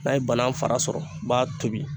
N'a ye bana fara sɔrɔ u b'a tobi.